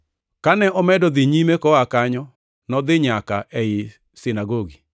Kane omedo dhi nyime koa kanyo, nodhi nyaka ei sinagogi,